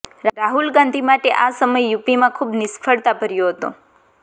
રાહુલ ગાંધી માટે આ સમય યુપીમાં ખુબ નિષ્ફળતા ભર્યો હતો